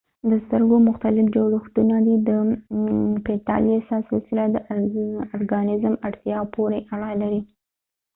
دسترګو مختلف جوړښتونه دي د پیچلتیا سلسله د ارګانیزم اړتیاو پورې اړه لري